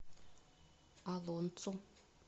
олонцу